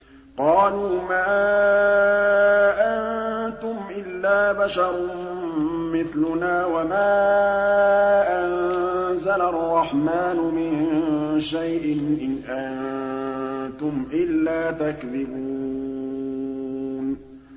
قَالُوا مَا أَنتُمْ إِلَّا بَشَرٌ مِّثْلُنَا وَمَا أَنزَلَ الرَّحْمَٰنُ مِن شَيْءٍ إِنْ أَنتُمْ إِلَّا تَكْذِبُونَ